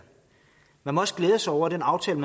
man må også glæde sig over den aftale